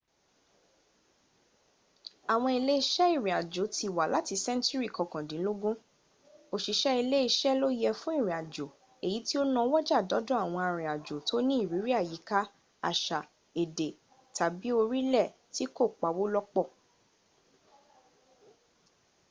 àwọn iléeṣẹ́ ìrìnàjò ti wà láti sẹ́ńtùrì kọkàndínlógún. osìṣẹ́ iléẹṣẹ́ ló yẹ fún ìrìnàjò èyí tó náwọ́jà dọ́dọ̀ àwọn arìnàjò tó ní ìrírí àyíká àṣà èdè tàbí orílẹ̀ tí kò pawó lọ́pọ̀